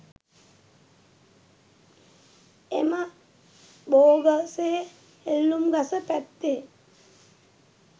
එම බෝගසේ එල්ලුම් ගස පැත්තේ